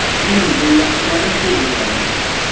Men bu yaxshi variant deb o‘yladim.